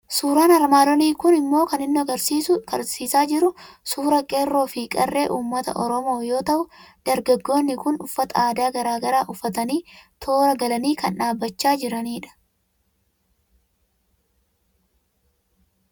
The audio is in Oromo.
Suuraan armaan olii kun immoo kan inni nu argisiisaa jiru suuraa qeerroo fi qarree Uummata Oromoo yoo ta'u, Dargaggoonni kun uffata aadaa garaa garaa uffatanii, toora galanii kan dhaabbachaa jiranidha.